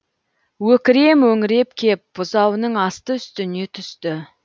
өкіре мөңіреп кеп бұзауының асты үстіне түсті